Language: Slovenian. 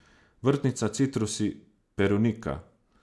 Vrtnica, citrusi, perunika.